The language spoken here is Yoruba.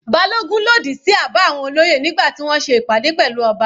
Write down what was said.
Balogun lòdì sí àbá àwọn olóyè nígbà tí wọ́n ṣe ìpàdé pẹ̀lú ọba.